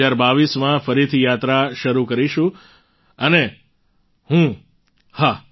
2022માં ફરીથી યાત્રા શરૂ કરીશું અને હું હા